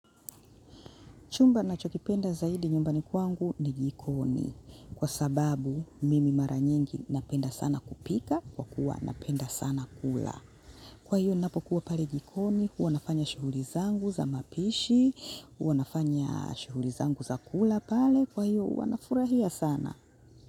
Chumba ninachokipenda zaidi nyumbani kwangu ni jikoni kwa sababu mimi mara nyingi napenda sana kupika kwa kuwa napenda sana kula. Kwa hiyo ninapokuwa pale jikoni huwa nafanya shughuli zangu za mapishi, huwa nafanya shughuli zangu za kula pale kwa hiyo huwa nafurahia sana.